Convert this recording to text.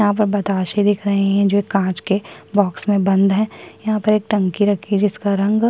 यहाँ पर बताशे दिख रहै हैं जो कांच के बॉक्स में बंद है यहाँ पर एक टंकी रखी है जिसका रंग --